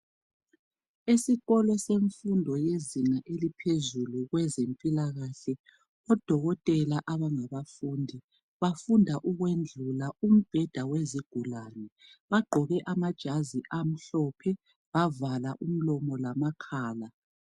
Esikolo semfundo yezinga eliphezulu kwezempilakahle, odokotela abangabafundi bafunda ukwendlula umbheda wezigulane. Bagqoke amajazi amhlophe bavala umlomo lamakhala.